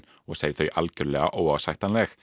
og segir þau algjörlega óásættanleg